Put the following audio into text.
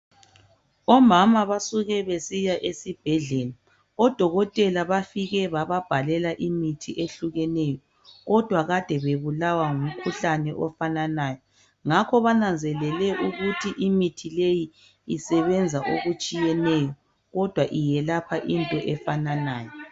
Omama basuke besiya esibhedlela. Odokotela bafike bababhalela imithi ehlukeneyo kodwa kade bebulawa ngumkhuhlane ofananayo ngakho bananzelele ukuthi imithi leyi isebenza okutshiyeneyo kodwa iyelapha into efananayo.